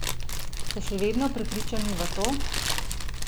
Ste še vedno prepričani v to?